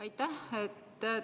Aitäh!